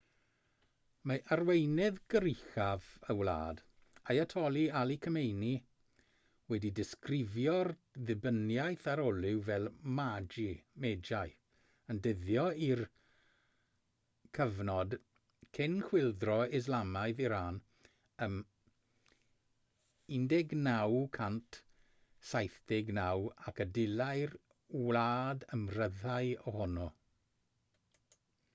mae arweinydd goruchaf y wlad ayatollah ali khamenei wedi disgrifio'r ddibyniaeth ar olew fel magl yn dyddio i'r cyfnod cyn chwyldro islamaidd iran ym 1979 ac y dylai'r wlad ymryddhau ohono